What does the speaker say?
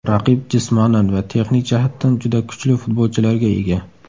Raqib jismonan va texnik jihatdan juda kuchli futbolchilarga ega.